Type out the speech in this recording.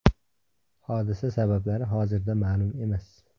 Hodisa sabablari hozirda ma’lum emas.